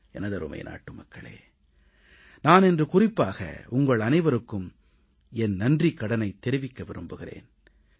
எனதருமை நாட்டுமக்களே நான் இன்று குறிப்பாக உங்கள் அனைவருக்கும் என் நன்றிக்கடனைத் தெரிவிக்க விரும்புகிறேன்